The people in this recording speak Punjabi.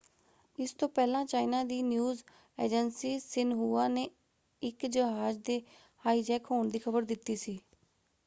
ਇਸ ਤੋਂ ਪਹਿਲਾਂ ਚਾਈਨਾ ਦੀ ਨਿਊਜ਼ ਏਜੰਸੀ ਸ਼ਿਨਹੁਆ ਨੇ ਇੱਕ ਜਹਾਜ ਦੇ ਹਾਈਜੈਕ ਹੋਣ ਦੀ ਖਬਰ ਦਿੱਤੀ ਸੀ।